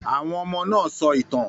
Àwọn ọmọ náà sọ ìtàn.